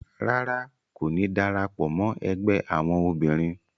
Ràrá, Ko ní darapọ̀ mọ ẹgbẹ awọn obìnrin